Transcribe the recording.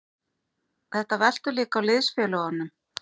Þetta veltur líka á liðsfélögunum.